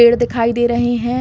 पेड़ दिखाई दे रहे हैं।